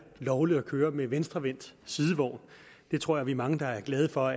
lovligt at køre med venstrevendt sidevogn det tror jeg vi er mange der er glade for